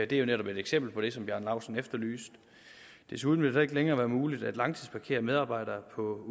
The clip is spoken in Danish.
det er jo netop et eksempel på det som herre bjarne laustsen efterlyste desuden vil det heller ikke længere være muligt at langtidsparkere medarbejdere på